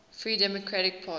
free democratic party